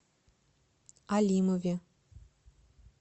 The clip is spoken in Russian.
алимове